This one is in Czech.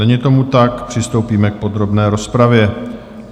Není tomu tak, přistoupíme k podrobné rozpravě.